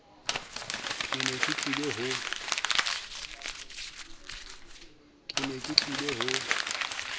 ke ne ke tlile ho